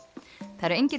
það eru engir